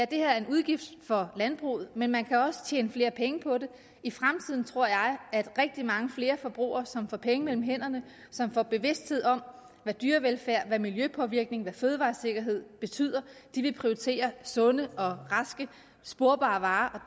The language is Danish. det her er en udgift for landbruget men man kan også tjene flere penge på det i fremtiden tror jeg at rigtig mange flere forbrugere som får penge mellem hænderne som får bevidsthed om hvad dyrevelfærd hvad miljøpåvirkning hvad fødevaresikkerhed betyder vil prioritere sunde og raske sporbare varer